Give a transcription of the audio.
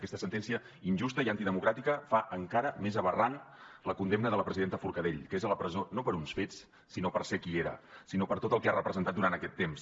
aquesta sentència injusta i antidemocràtica fa encara més aberrant la condemna de la presidenta forcadell que és a la presó no per uns fets sinó per ser qui era sinó per tot el que ha representat durant aquest temps